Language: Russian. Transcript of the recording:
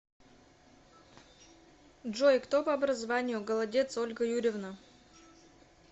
джой кто по образованию голодец ольга юрьевна